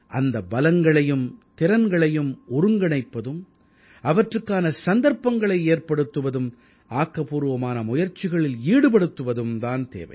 அந்த பலங்களையும் திறன்களையும் ஒருங்கிணைப்பதும் அவற்றுக்கான சந்தர்ப்பங்களை ஏற்படுத்துவதும் ஆக்கப்பூர்வமான முயற்சிகளில் ஈடுபடுத்துவதும் தான் தேவை